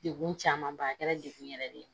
Degun camanba kɛra degun yɛrɛ de ye